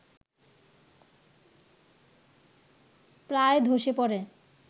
প্রায় ধসে পড়ে